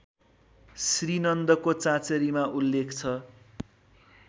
श्रीनन्दको चाँचरीमा उल्लेख छ